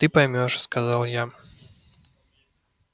ты поймёшь сказал я